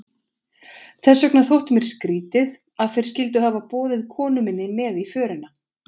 Þess vegna þótti mér skrýtið, að þeir skyldu hafa boðið konu minni með í förina.